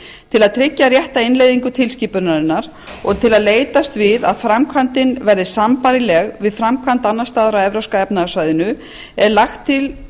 til að tryggja rétta innleiðingu tilskipunarinnar og til að leitast við að framkvæmdin verði sambærileg við framkvæmd annars staðar á evrópska efnahagssvæðinu er lagt til